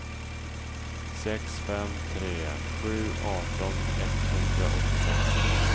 sex fem tre sju arton etthundraåttiosex